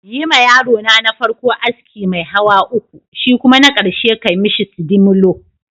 Yima yarona na farko aski mai hawa uku, shikuma na karshe ka mishi sidimolo